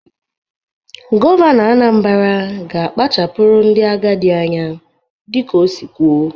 Gọvanọ Anambara ga-akpachapụrụ ndị agadị anya dị ka ọ si kwuo.